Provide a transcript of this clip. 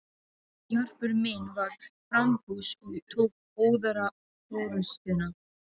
Jarpur minn var framfús og tók óðara forustuna.